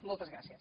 moltes gràcies